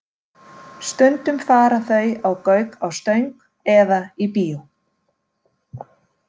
Stundum fara þau á Gauk á Stöng eða í bíó.